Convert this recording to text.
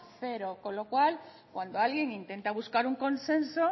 cero con lo cual cuando alguien intenta buscar un consenso